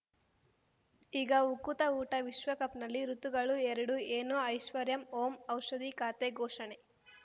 ಈಗ ಉಕುತ ಊಟ ವಿಶ್ವಕಪ್‌ನಲ್ಲಿ ಋತುಗಳು ಎರಡು ಏನು ಐಶ್ವರ್ಯಾ ಓಂ ಔಷಧಿ ಖಾತೆ ಘೋಷಣೆ